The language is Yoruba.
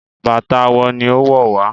Bàtà àwo ní owó wá.